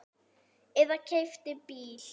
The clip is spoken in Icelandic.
Eða keypti bíl.